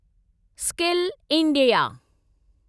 skill India